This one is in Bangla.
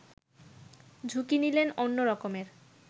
ঝুঁকি নিলেন অন্য রকমের